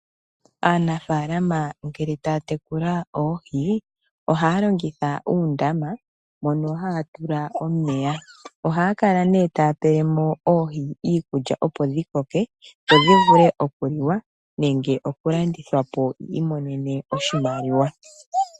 Aanafalama ngele taya tekula oohi, ohaya longitha uundama mono haya tula omeya. Ohaya kala nee taya pelemo oohi iikulya opo dhikoke dhodhi vule okuliwa nenge oku landithwapo yimonene oshimaliwa.